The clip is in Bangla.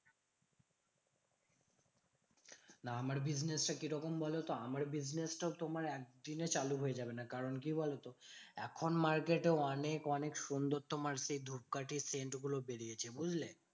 না আমার business টা কিরকম বলতো? আমার business টাও তোমার একদিনে চালু হয়ে যাবে না। কারণ কি বলতো? এখন market এ অনেক অনেক সুন্দর তোমার সেই ধুপকাঠির scent গুলো বেরিয়েছে বুঝলে?